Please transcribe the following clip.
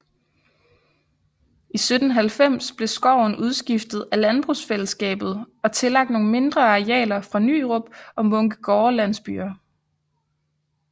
I 1790 blev skoven udskiftet af landbrugsfællesskabet og tillagt nogle mindre arealer fra Nyrup og Munkegårde landsbyer